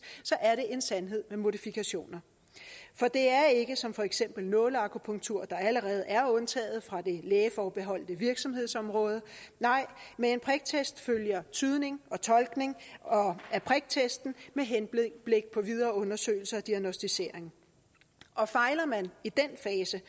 så er det en sandhed med modifikationer for det er ikke som for eksempel nåleakupunktur der allerede er undtaget fra det lægeforbeholdte virksomhedsområde nej med en priktest følger tydning og tolkning af priktesten med henblik på videre undersøgelse og diagnosticering fejler man i den fase